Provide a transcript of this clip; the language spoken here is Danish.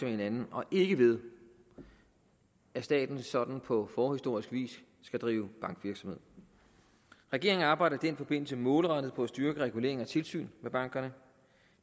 hinanden og ikke ved at staten sådan på forhistorisk vis skal drive bankvirksomhed regeringen arbejder i den forbindelse målrettet på at styrke reguleringen af og tilsynet med bankerne